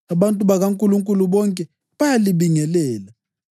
Abantu bakaNkulunkulu bonke bayalibingelela.